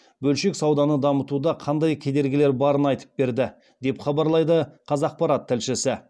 бөлшек сауданы дамытуда қандай кедергілер барын айтып берді деп хабарлайды қазақпарат тілшісі